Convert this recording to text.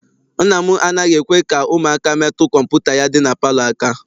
Nna m anaghị ekwe ka ụmụaka metụ kọmputa ya dị na palọ aka.